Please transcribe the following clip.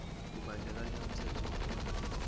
kubandakanya umthetho wokuphathwa